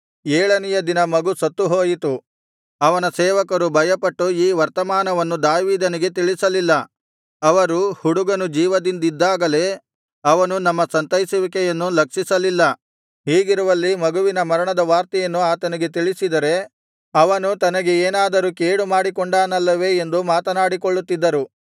ಏಳನೆಯ ದಿನ ಮಗು ಸತ್ತುಹೋಯಿತು ಅವನ ಸೇವಕರು ಭಯಪಟ್ಟು ಈ ವರ್ತಮಾನವನ್ನು ದಾವೀದನಿಗೆ ತಿಳಿಸಲಿಲ್ಲ ಅವರು ಹುಡುಗನು ಜೀವದಿಂದಿದ್ದಾಗಲೇ ಅವನು ನಮ್ಮ ಸಂತೈಸುವಿಕೆಯನ್ನು ಲಕ್ಷಿಸಲಿಲ್ಲ ಹೀಗಿರುವಲ್ಲಿ ಮಗುವಿನ ಮರಣದ ವಾರ್ತೆಯನ್ನು ಅವನಿಗೆ ತಿಳಿಸಿದರೆ ಅವನು ತನಗೆ ಏನಾದರೂ ಕೇಡುಮಾಡಿಕೊಂಡಾನಲ್ಲವೇ ಎಂದು ಮಾತನಾಡಿಕೊಳ್ಳುತ್ತಿದ್ದರು